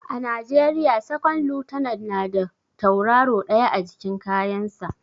A najeriya second lieutenant na da tauraro ɗaya a jikin kayan sa